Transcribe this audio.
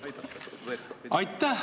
Aitäh!